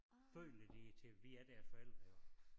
Føler de til vi er deres forældre jo